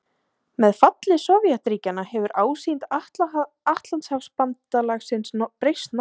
Með falli Sovétríkjanna hefur ásýnd Atlantshafsbandalagsins breyst nokkuð.